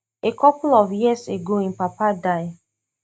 a couple of years ago im papa die